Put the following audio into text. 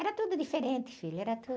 Era tudo diferente, filho, era tudo.